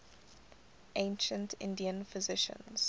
ancient indian physicians